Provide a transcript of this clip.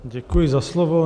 Děkuji za slovo.